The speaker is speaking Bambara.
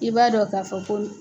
I b'a dɔn k'a fɔ ko